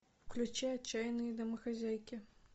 включи отчаянные домохозяйки